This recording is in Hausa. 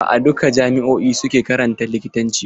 Ba a duka jami'o'i suke karantar likitanci ba.